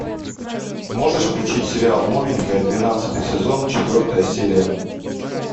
можешь включить сериал новенькая двенадцатый сезон четвертая серия